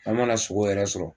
An mana sogo yɛrɛ sɔrɔ